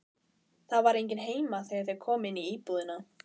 Það var enginn heima þegar þeir komu inn í íbúðina.